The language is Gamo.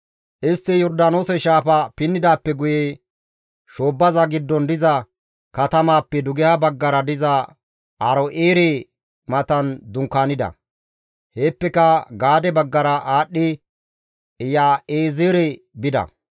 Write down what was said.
Istti Yordaanoose shaafa pinnidaappe guye shoobbaza giddon diza katamaappe dugeha baggara diza Aaro7eere matan dunkaanida; heeppeka Gaade baggara aadhdhi Iyaazeere bida.